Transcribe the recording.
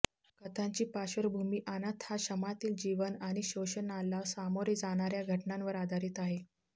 कथांची पार्श्वभूमी अनाथाशमातील जीवन आणि शोषणाला सामोरे जाणार्या घटनांवर आधारित आहे